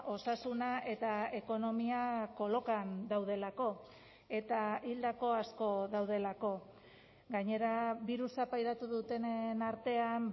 osasuna eta ekonomia kolokan daudelako eta hildako asko daudelako gainera birusa pairatu dutenen artean